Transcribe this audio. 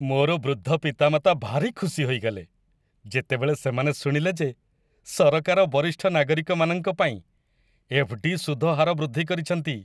ମୋର ବୃଦ୍ଧ ପିତାମାତା ଭାରି ଖୁସି ହୋଇଗଲେ, ଯେତେବେଳେ ସେମାନେ ଶୁଣିଲେ ଯେ ସରକାର ବରିଷ୍ଠ ନାଗରିକମାନଙ୍କ ପାଇଁ ଏଫ୍.ଡି. ସୁଧ ହାର ବୃଦ୍ଧି କରିଛନ୍ତି।